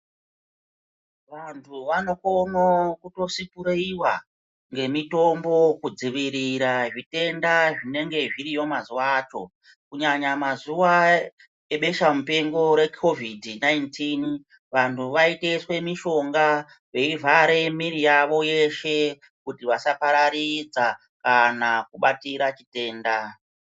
Vantu vanokone kutosipureiva ngemitombo kudzivirira zvitenda zvinenge zviriyo mazuva acho. Kunyanya mazuva ebesha mupengo rekovhidhi nainitini. Vantu vaitoiswe mishonga veivhare miri yavo yeshe kuti vasapararidza kana kubatira chitenda.